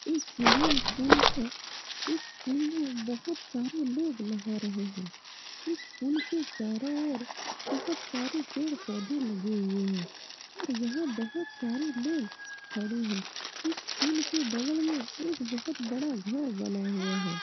इस में पुल है इस पुल में बहुत सारे लोग नहा रहे हैं इस पुल के चारो ओर बहुत सारे पेड़-पोधे लगे हुए हैं और यहाँ बहुत सारे लोग खड़े हैं इस पुल के बगल में एक बहुत बड़ा घर बना हुआ है ।